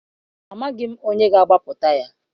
Amaghị onye ga-agbapụta ya.